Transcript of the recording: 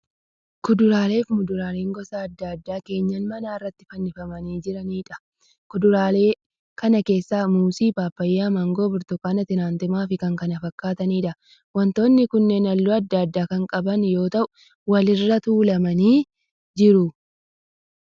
Kuduraalee muduraalee gosa adda addaa keenya manaa irratti fannifamanii jiraniidha. Kuduraaleen kana keessa muuzii, paappayyaa, maangoo, burtukaana, timaantimaa fi kan kana fakkaataniidha. Wantoonni kunneen halluu adda addaa kan qaban yoo ta'u wal irra tuulamanii jiru.